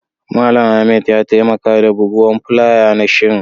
Mallam Ahmed ya taimaka da bugowan fulayas na shirin.